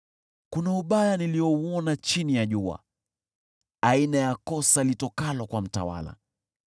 Kuna ubaya niliouona chini ya jua, aina ya kosa litokalo kwa mtawala: